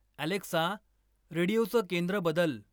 Alexa, रेडीओचं केंद्र बदल.